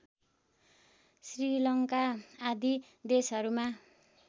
श्रीलङ्का आदि देशहरूमा